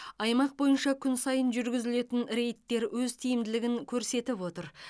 аймақ бойынша күн сайын жүргізілетін рейдтер өз тиімділігін көрсетіп отыр